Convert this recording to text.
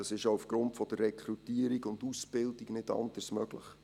Das ist auch aufgrund der Rekrutierung und Ausbildung nicht anders möglich.